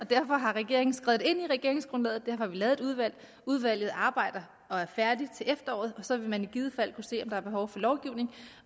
derfor har regeringen skrevet det ind i regeringsgrundlaget og derfor har vi lavet et udvalg udvalget arbejder og er færdigt til efteråret og så vil man i givet fald kunne se om der er behov for lovgivning